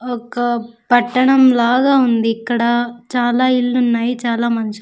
ఒక పట్టణం లాగా ఉంది ఇక్కడ చాలా ఇల్లు ఉన్నాయి చాలా మంచి --